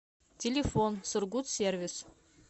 телефон сургутсервис